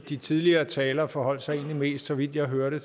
de tidligere talere forholdt sig så vidt jeg hørte